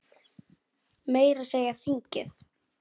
Meira að segja þingið!